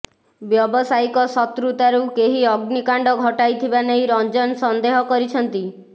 ବ୍ୟବସାୟିକ ଶତୃତାରୁ କେହି ଅଗ୍ନିକାଣ୍ଡ ଘଟାଇଥିବା ନେଇ ରଞ୍ଜନ ସନ୍ଦେହ କରିଛନ୍ତି